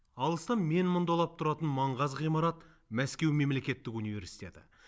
алыстан менмұндалап тұратын маңғаз ғимарат мәскеу мемлекеттік университеті